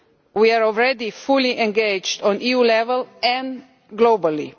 We are already fully engaged at EU level and globally.